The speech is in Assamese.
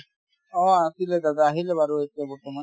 অ অ আছিলে দাদা আহিলে বাৰু এতিয়া বৰ্তমান